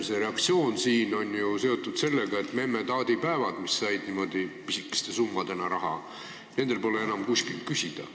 See reaktsioon siin on ju seotud sellega, et memme-taadi päevadel, mis said pisikesi summasid, pole enam kuskilt raha küsida.